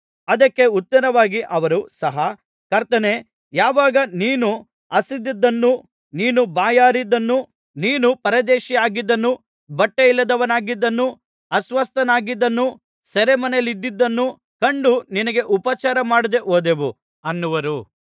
ಅದಕ್ಕೆ ಉತ್ತರವಾಗಿ ಅವರೂ ಸಹ ಕರ್ತನೇ ಯಾವಾಗ ನೀನು ಹಸಿದಿದ್ದನ್ನೂ ನೀನು ಬಾಯಾರಿದ್ದನ್ನೂ ನೀನು ಪರದೇಶಿಯಾಗಿದ್ದನ್ನೂ ಬಟ್ಟೆಯಿಲ್ಲದವನಾಗಿದ್ದನ್ನೂ ಅಸ್ವಸ್ಥನಾಗಿದ್ದುದನ್ನೂ ಸೆರೆಮನೆಯಲ್ಲಿದ್ದುದನ್ನೂ ಕಂಡು ನಿನಗೆ ಉಪಚಾರಮಾಡದೆ ಹೋದೆವು ಅನ್ನುವರು